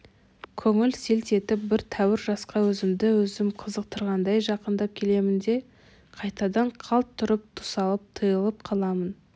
көңіл селт етіп бір тәуір жасқа өзімді өзім қызықтырғандай жақындап келемін де қайтадан қалт тұрып тұсалып тыйылып қаламын